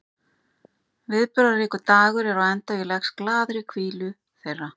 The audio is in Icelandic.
Viðburðaríkur dagur er á enda og ég leggst glaður í hvílu þeirra.